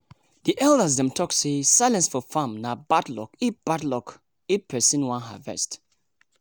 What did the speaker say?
the elders dem talk say silence for farm nah bad luck if bad luck if persin wan harvest.